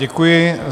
Děkuji.